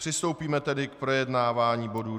Přistoupíme tedy k projednávání bodu